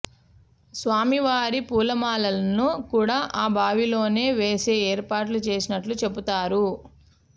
స్వామి వారి పూలమాలలను కూడా ఆ బావిలోనే వేసే ఏర్పాట్లు చేసినట్లు చెబుతారు